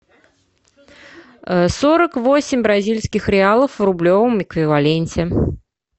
сорок восемь бразильских реалов в рублевом эквиваленте